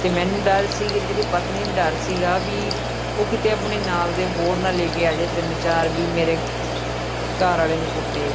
ਤੇ ਮੈਨੂੰ ਡਰ ਸੀਗਾ ਜਿਹੜਾ ਪਤਨੀ ਨੂੰ ਡਰ ਸੀਗਾ, ਵੀ ਉਹ ਕਿਤੇ ਆਪਣੇ ਨਾਲ ਦੇ ਹੋਰ ਨਾ ਲੈ ਕੇ ਆ ਜੇ ਤਿੰਨ-ਚਾਰ ਵੀ ਮੇਰੇ ਘਰ ਆਲੇ ਨੂੰ ਕੁੱਟੇ।